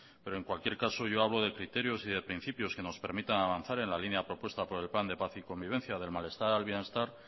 pero en cualquier caso yo hablo de criterios y de principios que nos permitan avanzar en la línea propuesta por el plan de paz y convivencia del malestar al bienestar